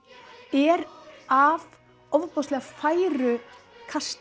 er af ofboðslega færu